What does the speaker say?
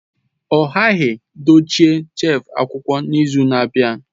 Ọ ghaghị dochie shelf akwụkwọ n'izu na-abịa!